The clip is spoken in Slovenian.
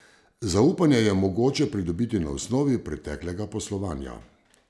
Zaupanje je mogoče pridobiti na osnovi preteklega poslovanja.